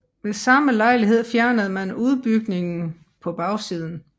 Ved samme lejlighed fjernede man udbygningen på bagsiden